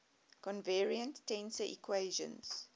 covariant tensor equations